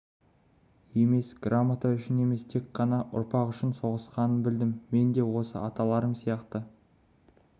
емес грамота үшін емес тек қана ұрпақ үшін соғысқанын білдім мен де осы аталарым сияқты